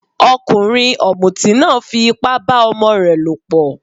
Ọkùnrin ọ̀mùtí náà fí ipá bá ọmọ rẹ lọ̀pọ̀.